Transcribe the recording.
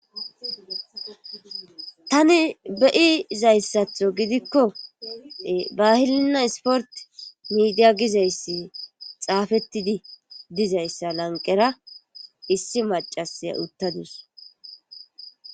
Tani be'zayssatho gidikko bahilinna isport miidiya gizayssi xaafettidi dizayssa lanqera issi macasa uttadus